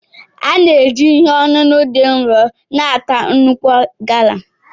A na-eji ihe ọṅụṅụ dị nro na-ata nnukwu gala.